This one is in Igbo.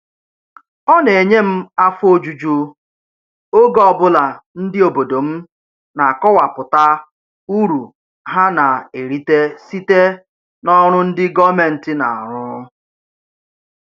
Ọ na-enye m afọ ojuju oge ọbụla ndị obodo m na-akọwapụta uru ha na-erite site n'ọrụ ndị gọọmentị na-arụ